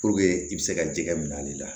i bɛ se ka jɛgɛ minɛ ale la